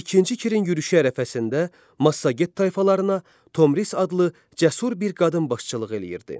İkinci Kirin yürüşü ərəfəsində Massaget tayfalarına Tomris adlı cəsur bir qadın başçılıq edirdi.